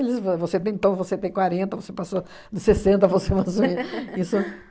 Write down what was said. você, você tem quarenta, você passou dos sessenta, você mais ou me isso